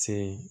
Se